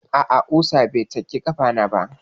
A'a, ƙusa bai cake ƙafana ba.